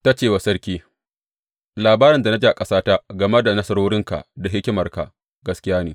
Ta ce wa sarki, Labarin da na ji a ƙasata game da nasarorinka da hikimarka, gaskiya ne.